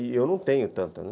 E eu não tenho tanta, né?